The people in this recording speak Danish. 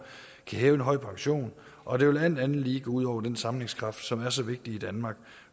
kan hæve en høj pension og det vil alt andet lige gå ud over den sammenhængskraft som er så vigtig i danmark